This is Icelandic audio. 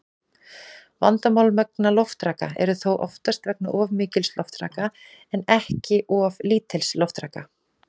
Vandamál vegna loftraka eru þó oftast vegna of mikils loftraka en ekki of lítils loftraka.